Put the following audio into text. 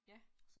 Ja